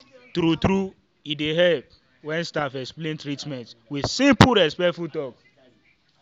true true e dey help when staff explain treatment with simple and respectful talk.